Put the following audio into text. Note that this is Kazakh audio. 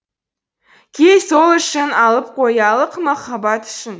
кел сол үшін алып қоялық махаббат үшін